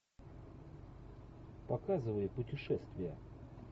показывай путешествия